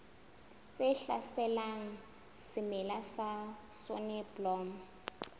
tse hlaselang semela sa soneblomo